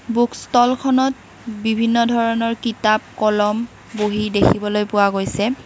Books ষ্টলখনত বিভিন্ন ধৰণৰ কিতাপ কলম বহি দেখিব পোৱা গৈছে।